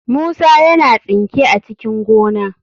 Musa yana tsinke a cikin gona."